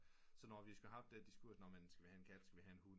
Så når de har spurgt nå skal vi have en kat skal vi have en hund